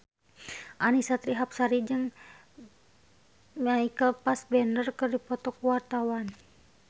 Annisa Trihapsari jeung Michael Fassbender keur dipoto ku wartawan